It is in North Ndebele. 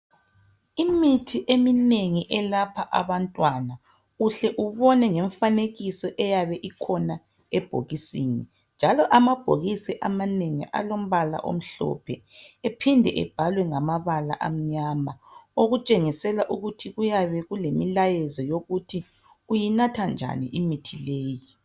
Imithi eminengi elapha abantwana uhle ubone ngemifanekiso eyabe ikhona ebhokisini njalo amabhokisi amanengi alombala omhlophe bephinde ebhalwe ngamabala amnyama okutshengisela ukuthi kuyabe kulemilayezo yokuthi uyinatha njani imithi leyi